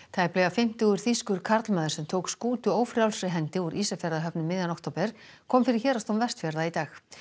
tæplega fimmtugur þýskur karlmaður sem tók skútu ófrjálsri hendi úr Ísafjarðarhöfn um miðjan október kom fyrir Héraðsdóm Vestfjarða í dag